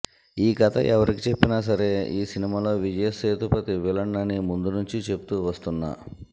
ఈ కథ ఎవరికి చెప్పినా సరే ఈ సినిమాలో విజయ్సేతుపతి విలన్ అని ముందునుంచి చెప్తూ వస్తున్నా